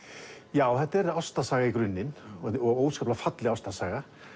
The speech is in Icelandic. já þetta er ástarsaga í grunninn og óskaplega falleg ástarsaga